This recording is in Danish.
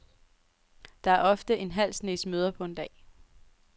Der er ofte en halv snes møder på en dag.